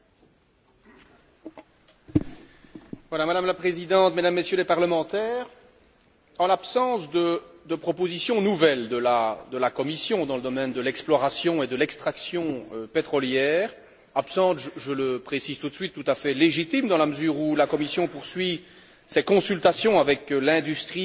Madame la Présidente, Mesdames et Messieurs les parlementaires, en l'absence de propositions nouvelles de la Commission dans le domaine de l'exploration et de l'extraction pétrolière absence, je le précise tout de suite, tout à fait légitime dans la mesure où la Commission poursuit ses consultations avec l'industrie et les multiples autorités de réglementation concernées